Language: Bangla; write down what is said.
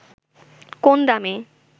কোন দামে